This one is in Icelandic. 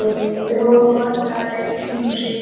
Þau horfa vandræðalega í kringum sig.